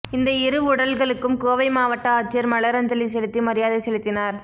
இந்த இரு உடல்களுக்கும் கோவை மாவட்ட ஆட்சியர் மலரஞ்சலி செலுத்தி மரியாதை செலுத்தினார்